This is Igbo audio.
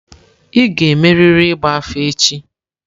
Ị ga-emerịrị ịgba afa echi!